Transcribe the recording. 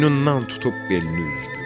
Boynundan tutub belini üzdü.